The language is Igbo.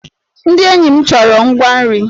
Ndị enyi m chọrọ ngwa nri.